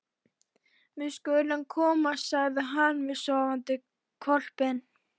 Við skulum komast, sagði hann við sofandi hvolpinn.